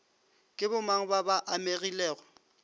ke bomang ba ba amegilego